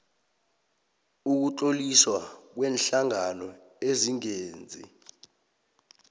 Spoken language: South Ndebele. ukutloliswa kweenhlangano ezingenzi